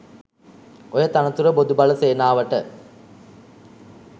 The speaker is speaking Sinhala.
ඔය තනතුර බොදු බල සේනාවට